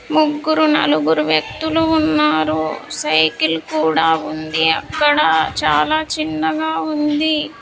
ముగ్గురు నలుగురు వ్యక్తులు ఉన్నారు సైకిల్ కూడా ఉంది అక్కడ చాలా చిన్నగా ఉంది.